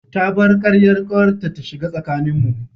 Ta bar karyar kawarta ta shiga tsakaninmu.